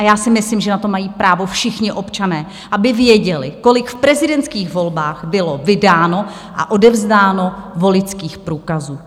A já si myslím, že na to mají právo všichni občané, aby věděli, kolik v prezidentských volbách bylo vydáno a odevzdáno voličských průkazů.